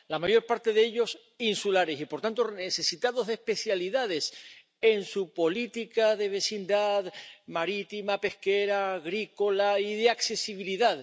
La mayor parte de ellos insulares y, por tanto, necesitados de especificidades en su política de vecindad marítima, pesquera, agrícola y de accesibilidad.